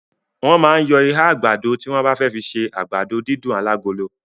Wọ́n máa ń yọ ihá àgbàdo tí wọ́n bá fẹ́ fi ṣe àgbàdo dídùn alágolo.